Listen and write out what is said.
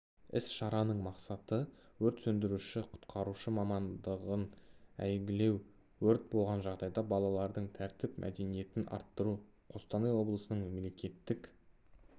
іс-шараның мақсаты өрт сөндіруші-құтқарушы мамандығын әйгілеу өрт болған жағдайда балалардың тәртіп мәдениетін арттыру қостанай облысының мемлекеттік